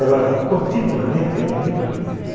Ela continuamente era muito bonita.